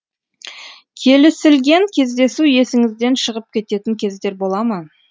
келісілген кездесу есіңізден шығып кететін кездер бола ма